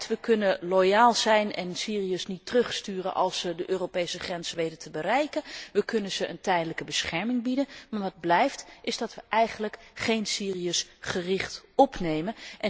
We kunnen loyaal zijn, en de Syriërs niet terugsturen als ze de Europese grenzen weten te bereiken, we kunnen ze een tijdelijke bescherming bieden, maar wat blijft, is dat we eigenlijk Syriërs niet gericht opnemen.